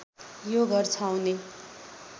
यो घर छाउने